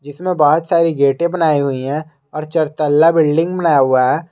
जिसमें बहोत सारी गेटे बनाया हुआ है और चरतल्ला बिल्डिंग बनाया हुआ है।